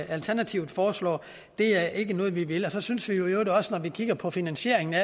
alternativet foreslår er ikke noget vi vil så synes vi i øvrigt også når vi kigger på finansieringen af